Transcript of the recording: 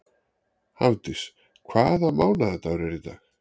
Hafdís, hvaða mánaðardagur er í dag?